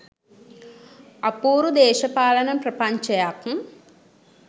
අපූරු දේශපාලන ප්‍රපංචයක්